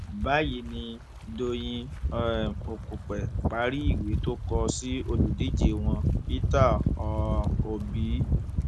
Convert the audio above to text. báyìí ni dọyìn um òkùpẹ parí ìwé tó kọ sí olùdíje wọn peter um obi